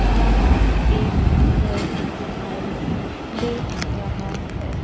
यहां एक घर दिखाई दे रहा है।